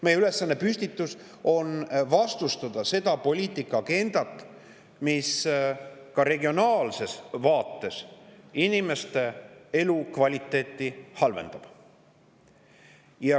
Meie ülesanne on vastustada seda poliitikaagendat, mis ka regionaalses vaates inimeste elukvaliteeti halvendab.